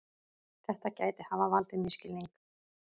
Þetta geti hafa valdið misskilningi